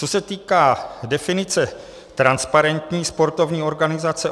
Co se týká definice transparentní sportovní organizace.